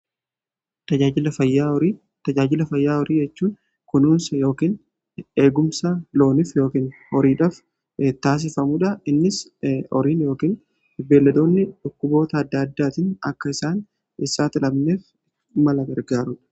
Tajaajila fayyaa horii jechuun kunuunsa yookiin eegumsa loonif yookiin horiidhaf taasifamuudha. Innis horiin yookiin beeladoonni dhukkuboota adda addaatiin akka isaan hin saaxilamneef mala gargaarudha.